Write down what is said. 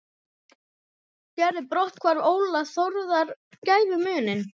Gerði brotthvarf Óla Þórðar gæfumuninn?